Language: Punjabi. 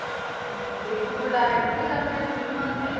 ਹਾਂ ਤੇ ਖੁੱਦ direct ਵੀ ਕਰਦੇ ਨੇ ਫਿਲਮਾਂ ਤੇ